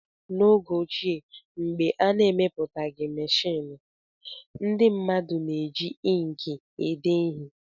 N'oge ochie, mgbe a na-emepụtaghị meshịn, ndị mmadụ na-eji ịnkị ede ihe